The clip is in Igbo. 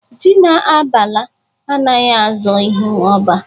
Ji na abala anaghị azọ ihụ ọba